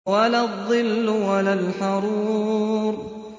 وَلَا الظِّلُّ وَلَا الْحَرُورُ